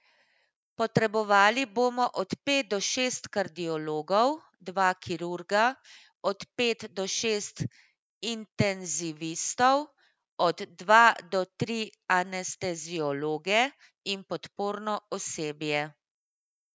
Potrebovali bomo od pet do šest kardiologov, dva kirurga, od pet do šest intenzivistov, od dva do tri anesteziologe in podporno osebje.